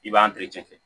I b'an